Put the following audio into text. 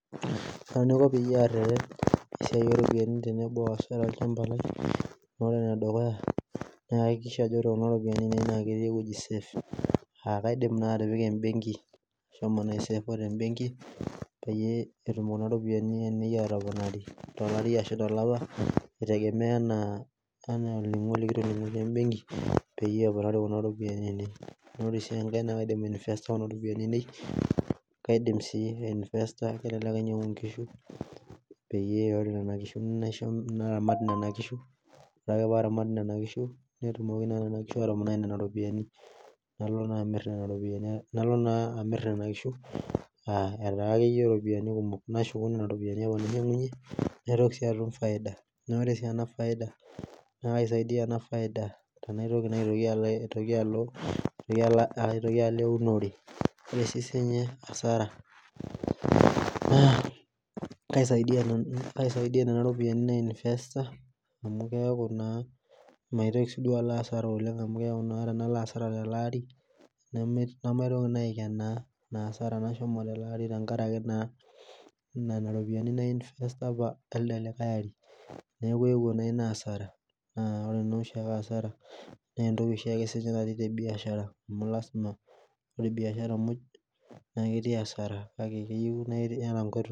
Kaji aiko peyie areten esiai o ropiyani tenebo o asara olchamba lai , neeku ore ene dukuya kaihakikisha ajo ore kuna ropiyani ainei naa ketii ewoji safe , aa kaidim naa atipika embenki ai save tenbenki peyie etum kuna ropiyiani ainei atoponari tolari ashu tolapa eitegemea anaa olningo likitoningote we embenki peyie eponari kuna ropiyiani ainei naa ore sii enkae naa kaidim ainvesta kuna ropiyiani aieni , kelelek ainyangu inkishu paa aramat nena kishu netumoki naa nena kishu atoponai nena ropiyiani , naloo naa amir nena kishuu etaa akeyie ropiyiani kumok nashuku nena ropiyiani nainyangunye naitoki sii atum faida naa oree si ena faida naa kaisaidia ena faida paitoki alo eunore , kaisaidia nena ropiyiani nainvesta meeta maitokii si duo alo hasara oleng amu teanalo hasara telaari nemaitoki naa aikenaa hasara nashomo telaari tenkaraki nena ropiyiani nainvesta apa elde likai ari neekuewuo ina hasara na oree naa oshiake hasara na entoki oshiake sinyee naatae te biashara amu lasima ore biashara muuj naa ketii hasara kake keyio na iyata inkoitoi.